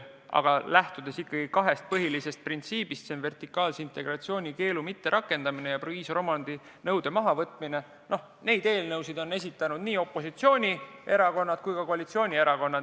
Aga lähtudes ikkagi kahest põhilisest printsiibist – vertikaalse integratsiooni keelu mitterakendamine ja proviisoriomandi nõude mahavõtmine –, on neid eelnõusid esitanud nii opositsioonierakonnad kui ka koalitsioonierakonnad.